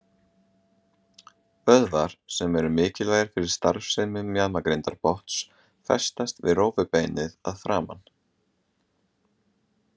Vöðvar sem eru mikilvægir fyrir starfsemi mjaðmagrindarbotns festast við rófubeinið að framan.